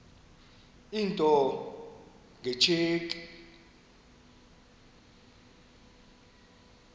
into nge tsheki